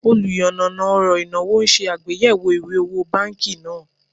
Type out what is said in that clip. Oluyanana oro inawo n se agbeyewo iwe owo banki naa